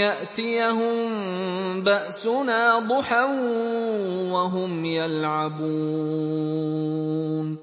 يَأْتِيَهُم بَأْسُنَا ضُحًى وَهُمْ يَلْعَبُونَ